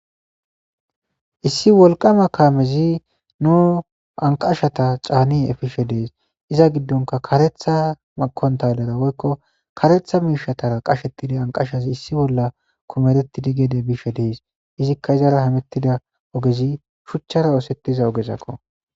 issi wolqama kaamezi nu anqashata caani efishe dees iza giddonka karetha makontalera woykko karetha miishatara qashetida anqashazi issi bolla komerettidi geede bishe dees izikka izara hamettida ogezi shuchchara oosettiza ogezakko